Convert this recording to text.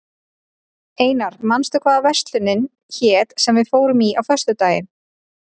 Einar, manstu hvað verslunin hét sem við fórum í á föstudaginn?